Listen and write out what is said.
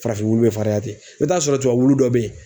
Farafin wulu bɛ fariya ten i bɛ taa sɔrɔ tubabu wulu dɔ bɛ ye